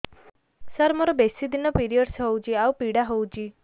ସାର ମୋର ବେଶୀ ଦିନ ପିରୀଅଡ଼ସ ହଉଚି ଆଉ ପୀଡା ହଉଚି